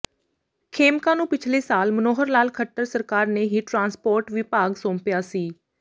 ਖੇਮਕਾ ਨੂੰ ਪਿਛਲੇ ਸਾਲ ਮਨੋਹਰ ਲਾਲ ਖੱਟਰ ਸਰਕਾਰ ਨੇ ਹੀ ਟਰਾਂਸਪੋਰਟ ਵਿਭਾਗ ਸੌਂਪਿਆ ਸੀ